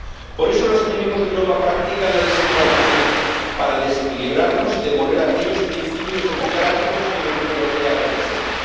Por eso los enemigos de Europa practican la desinformación, para desequilibrarnos y demoler aquellos principios democráticos que la Unión Europea representa.